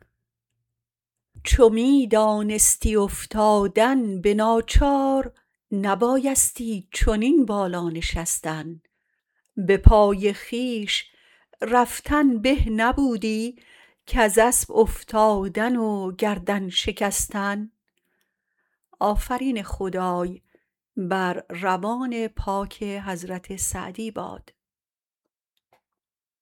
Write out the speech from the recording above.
چو می دانستی افتادن به ناچار نبایستی چنین بالا نشستن به پای خویش رفتن به نبودی کز اسب افتادن و گردن شکستن